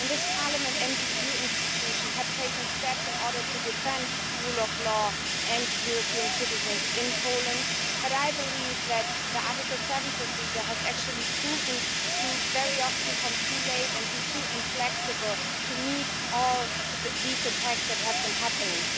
This Parliament and the EU institutions have taken steps in order to defend the rule of law and European citizens in Poland, but I believe that the Article 7 procedure has actually proven to very often come too late and be too inflexible to meet all these attacks that have been happening.